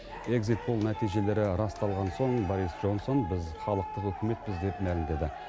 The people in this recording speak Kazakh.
экзит пол нәтижелері расталған соң борис джонсон біз халықтық үкіметпіз деп мәлімдеді